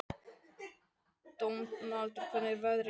Dómaldur, hvernig er veðrið í dag?